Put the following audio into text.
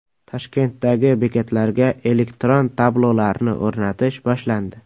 Toshkentdagi bekatlarga elektron tablolarni o‘rnatish boshlandi.